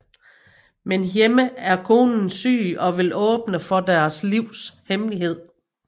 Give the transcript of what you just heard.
Men hjemme er konen syg og vil åbne for deres livs hemmelighed